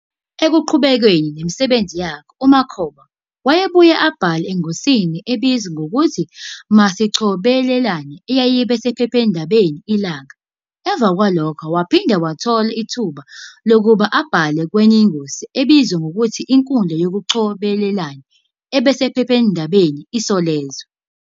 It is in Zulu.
Ekuqhubekeni nemsbenzi yakhe uMakhoba wayebuye abhale engosini ebizwa ngokuthi "Masicobelelane" eyayiba esphephandabeni Ilanga. Emva kwalokhu waphinde wathola ithuba lokuba abhale kwenye ingosi ebizwa ngokuthi "Inkundla Yokucobelelana" eba sephephndabeni Isolezwe.